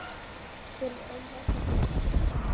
Hver er ein helsta breytingin andlega?